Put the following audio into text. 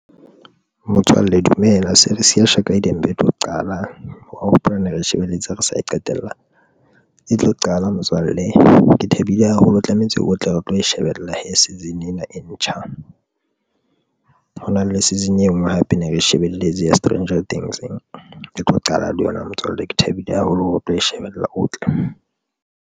Motswalle dumela series ke ya Shaka, Ilembe e tlo qala wa hopola ne re shebeletse re sa e qetella, e tlo qala motswalle. Ke thabile haholo tlamehetse otle re tlo e shebella season ena e ntjha ho na le season e nngwe hape ne re shebeletse ya Stranger Things e tlo qala le yona motswalle. Ke thabile haholo hore re tlo e shebella, o tle.